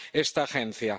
esta agencia.